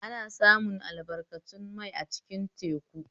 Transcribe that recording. Ana samun albarkatun mai a cikin teku